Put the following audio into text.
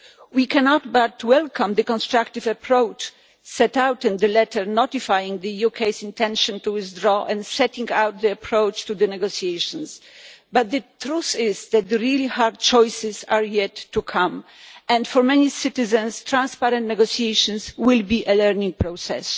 We cannot but welcome the constructive approach set out in the letter notifying the UK's intention to withdraw and setting out the approach to the negotiations, but the truth is that the really hard choices are yet to come, and for many citizens transparent negotiations will be a learning process.